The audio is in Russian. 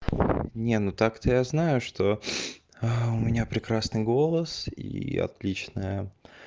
не ну так-то я знаю что у меня прекрасный голос и отличная